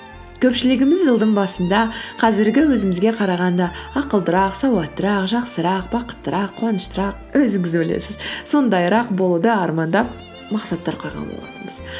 көпшілігіміз жылдың басында қазіргі өзімізге қарағанда ақылдырақ сауаттырақ жақсырақ бақыттырақ қуаныштырақ өзіңіз білесіз сондайырақ болуды армандап мақсаттар қойған болатынбыз